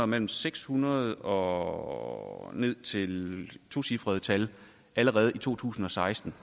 mellem seks hundrede og ned til et tocifret tal allerede i to tusind og seksten